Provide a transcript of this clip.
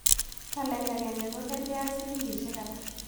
Tolait agenge ko gergeak silingiisiek ata